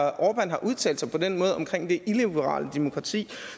at orbán har udtalt sig på den måde omkring det illiberale demokrati